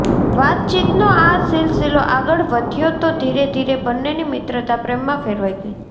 વાતચીતનો આ સિલસિલો આગળ વધ્યો તો ધીરે ધીરે બંનેની મિત્રતા પ્રેમમાં ફેરવાઈ ગઈ